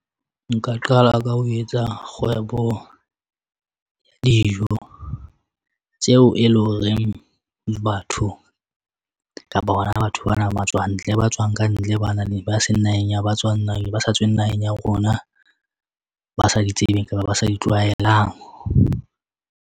Nka qala ka ho etsa kgwebo dijo tseo e leng horeng batho kapa bona batho bana ba matswantle, ba tswang kantle. Bana ba seng naheng, ba sa tsweng naheng ya rona, ba sa di tsebeng kapa ba sa di tlwaelang.